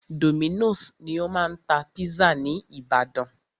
Dominos ni o máa ń tá pizza ní ìbàdàn.